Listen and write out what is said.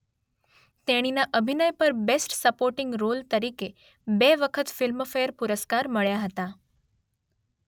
તેણીના અભિનય પર બેસ્ટ સપોર્ટિંગ રોલ તરીકે બે વખત ફિલ્મ ફેર પુરસ્કાર મળ્યાં હતાં.